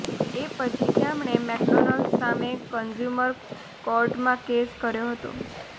એ પછી તેમણે મેકડોનાલ્ડ સામે કન્ઝ્યુમર કોર્ટમાં કેસ કર્યો હતો